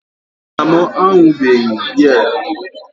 nna m aṅụbeghị biya mbụ